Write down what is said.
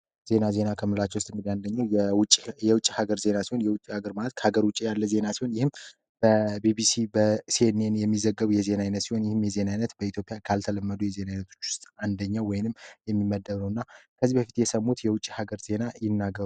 ዜና ዜና አከምላቸው የውጭ የውጭ ሀገር ዜና የሀገር ማለት ሀገር ውጪ ያለ ዜና ይህም በቢቢሲ በሴንኤን የሚዘገቡ የዜና ሲሆን የሚያዝነት በኢትዮጵያ ካልተለመዱ የዜና አንደኛው ወይንም የሚመደሙት የውጪ ሀገር ዜና ይናገሩ